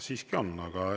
Siiski on.